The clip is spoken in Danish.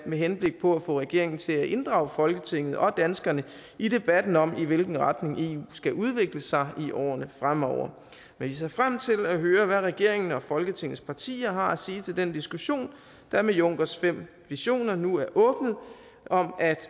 med henblik på at få regeringen til at inddrage folketinget og danskerne i debatten om i hvilken retning eu skal udvikle sig i årene fremover vi ser frem til at høre hvad regeringen og folketingets partier har at sige til den diskussion der med junckers fem visioner nu er åbnet om at